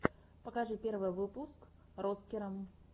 покажи первый выпуск роцкера